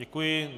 Děkuji.